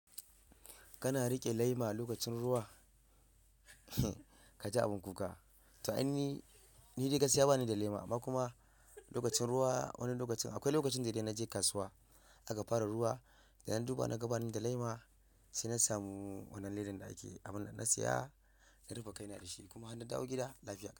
Kana riƙe lema lokacin ruwa? Kaji abin kuka. To, anyi ni dai gaskiya bani da lema amma kuma lokacin ruwa wani lokacin akwai lokacin da dai naje kasuwa aka fara ruwa da na duba na ga bani da lema sai na samu wannan ledan da ake abunnan na siya na rufe kai na da shi kuma har na dawo gida lafiya.